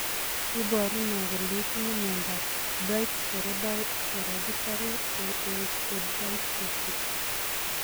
Iporu ne kole itinye miondap Albright's hereditary osteodystrophy?